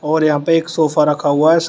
और यहां पे एक सोफा रखा हुआ है साम--